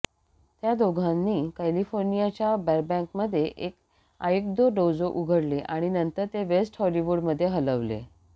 त्या दोघांनी कॅलिफोर्नियाच्या बरबॅंकमध्ये एक आयिक्दो डोजो उघडले आणि नंतर ते वेस्ट हॉलीवुडमध्ये हलवले